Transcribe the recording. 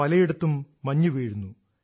പലയിടത്തും മഞ്ഞുവീഴുന്നു